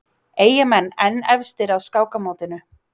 Eyjamenn enn efstir á skákmótinu